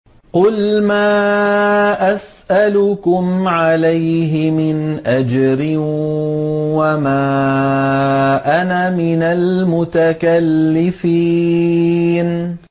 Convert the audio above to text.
قُلْ مَا أَسْأَلُكُمْ عَلَيْهِ مِنْ أَجْرٍ وَمَا أَنَا مِنَ الْمُتَكَلِّفِينَ